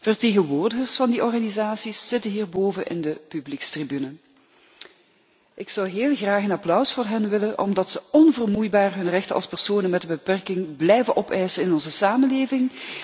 Vertegenwoordigers van die organisaties zitten hierboven op de publiekstribune. Ik zou heel graag een applaus voor hen willen, omdat ze onvermoeibaar hun rechten als personen met een beperking blijven opeisen in onze samenleving